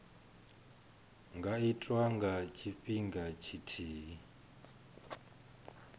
nga itwa nga tshifhinga tshithihi